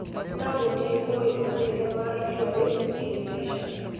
No-gũtirĩ ũĩ maumĩrĩra ma-itua rĩũ kĩmbeca.